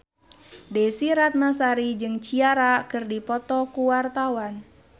Desy Ratnasari jeung Ciara keur dipoto ku wartawan